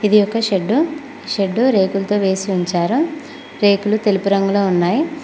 ఇది ఒక shed shed రేకులతో వేసి ఉంచారు రేకులు తెలుపు రంగులో ఉన్నాయి.